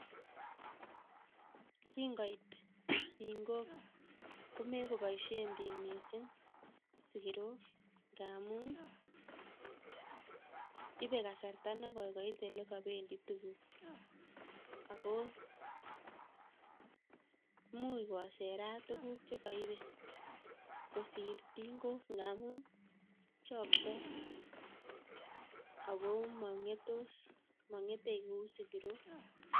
kingoit tingok komekoboisie biik miising' sikirok ngaamu ibe kasarta nekoi koit olekabendi tuguk ako muuch koserat tuguk chekaibe kosir tingok ngaamu chaktoi ako mang'etos, mang'ete ku sikirok